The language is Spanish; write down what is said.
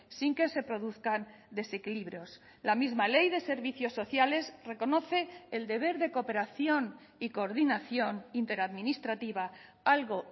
sin que se produzcan desequilibrios la misma ley de servicios sociales reconoce el deber de cooperación y coordinación interadministrativa algo